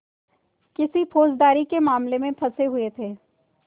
किसी फौजदारी के मामले में फँसे हुए थे